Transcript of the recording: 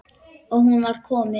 Og nú var vorið komið.